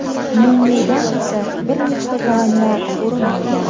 Menyudan esa bir nechta taomlar o‘rin olgan.